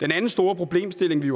den anden store problemstilling vi